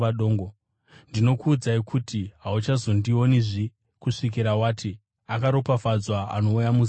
Ndinokuudza kuti, hauchazondionizve kusvikira wati, ‘Akaropafadzwa anouya muzita raIshe.’ ”